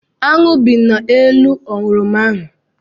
Aṅụ bị n'elu oroma ahụ.